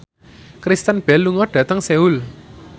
Kristen Bell lunga dhateng Seoul